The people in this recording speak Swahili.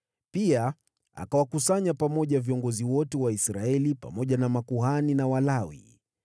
Pia akawakusanya pamoja viongozi wote wa Israeli, pamoja na makuhani na Walawi.